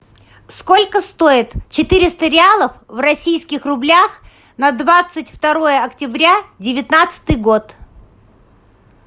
сколько стоит четыреста реалов в российских рублях на двадцать второе октября девятнадцатый год